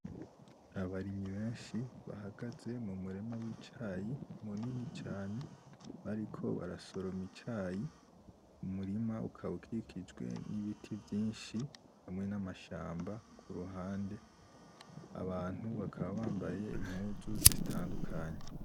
Abarimyi benshi bahagaze mu murima w'icayi munini cane bariko barasoroma icayi, umurima ukaba ukikijwe n'ibiti vyinshi, hamwe n'amashamba kuruhande, abantu bakaba bambaye impuzu zitandukanye.